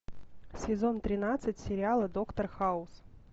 сезон тринадцать сериала доктор хаус